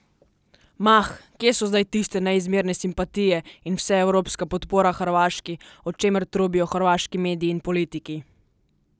Mah, kje so zdaj tiste neizmerne simpatije in vseevropska podpora Hrvaški, o čemer trobijo hrvaški mediji in politiki?